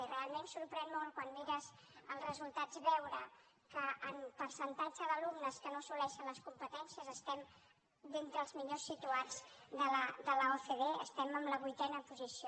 i realment sorprèn molt quan mires els resultats veure que en percentatge d’alumnes que no assoleixen les competències estem d’entre els millors situats de l’ocde estem en la vuitena posició